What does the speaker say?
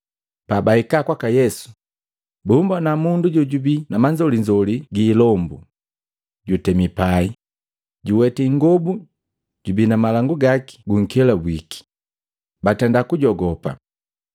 Pabahika kwaka Yesu, bumbona mundu jojabii na manzolinzoli giilombu. Jutami pai, juwati ingobu jubii na malangu gaki gunkelabwiki, batenda kujogopa.